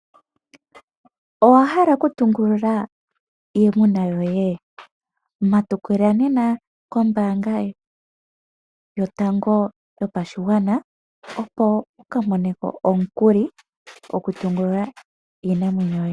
Owahala okutungulula iimuna yoye matukila nena kombaanga yotango yopashigwana opo wu kale mone ko omukuli gokutungulula iinamwenyo yoye.